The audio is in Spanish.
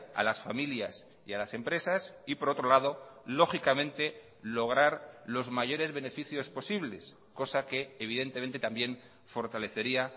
a las familias y a las empresas y por otro lado lógicamente lograr los mayores beneficios posibles cosa que evidentemente también fortalecería